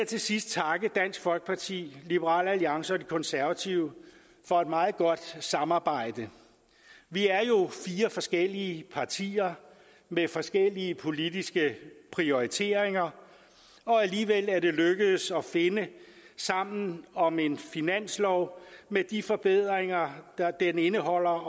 til sidst takke dansk folkeparti liberal alliance og de konservative for et meget godt samarbejde vi er jo fire forskellige partier med forskellige politiske prioriteringer og alligevel er det lykkedes at finde sammen om en finanslov med de forbedringer den indholder